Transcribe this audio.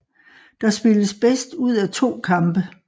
Der spilles bedst ud af to kampe